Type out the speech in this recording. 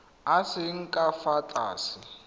a seng ka fa tlase